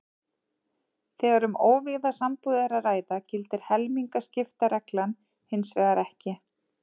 Þegar um óvígða sambúð er að ræða gildir helmingaskiptareglan hins vegar ekki.